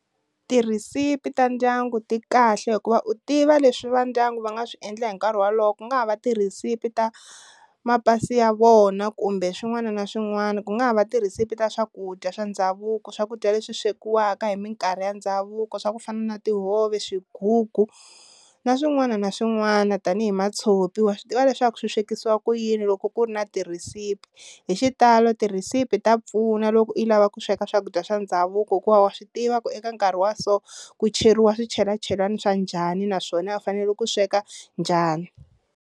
Tirhisipi ta ndyangu ti kahle hikuva u tiva leswi va ndyangu va nga swi endla hi nkarhi wolowo ku nga ha va tirhisipi ta mapasi ya vona kumbe swin'wana na swin'wana, ku nga ha va tirhisipi ta swakudya swa ndhavuko swakudya leswi swekiwaka hi mikarhi ya ndhavuko swa ku fana na tihove, swigugu, na swin'wana na swin'wana tanihi matshopi wa swi tiva leswaku swi swekisiwa ku yini loko ku ri na tirhisipi, hi xitalo tirhisipi ta pfuna loko u yi lava ku sweka swakudya swa ndhavuko hikuva wa swi tiva ku eka nkarhi wa so ku cheriwa swichelachelani swa njhani naswona u fanele ku sweka njhani.